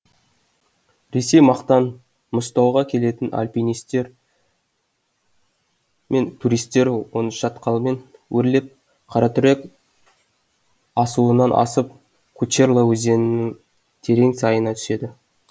ресей жақтан мұзтауға келетін альпинистер мен туристер осы шатқалмен өрлеп қаратүрек асуынан асып кучерла өзенінің терең сайына түседі